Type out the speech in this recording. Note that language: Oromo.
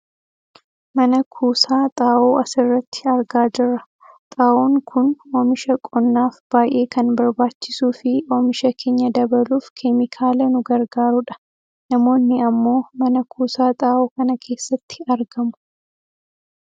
Mana kuusaa xaa'oo asirratti argaa jirra. Xaa'oon kun ammoo oomisha qonnaaf baayyee kan barbaachisuu fi oomisha keenya dabaluuf keemikaala nu gargaaru dha. Namoonni ammoo Mana kuusaa xaa'oo kana keessaatti argamu.